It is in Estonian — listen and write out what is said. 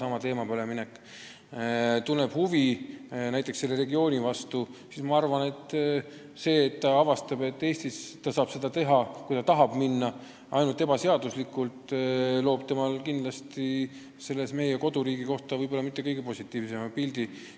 Ja kui näiteks Ukraina noor tunneb huvi meie regiooni vastu ja avastab, et Eestis ta saab seda tööd teha ainult ebaseaduslikult, siis loob see talle meie koduriigist mitte kõige positiivsema pildi.